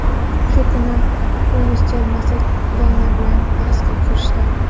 Shu kuni Tunis termasi Gana bilan bahsga kirishdi.